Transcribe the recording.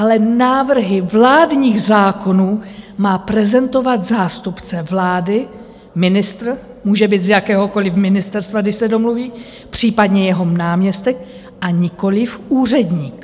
Ale návrhy vládních zákonů má prezentovat zástupce vlády, ministr může být z jakéhokoliv ministerstva, když se domluví, případně jeho náměstek, a nikoliv úředník.